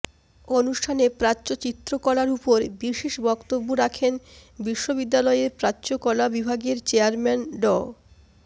অনুষ্ঠানে প্রাচ্য চিত্রকলার উপর বিশেষ বক্তব্য রাখেন বিশ্ববিদ্যালয়ের প্রাচ্যকলা বিভাগের চেয়ারম্যান ড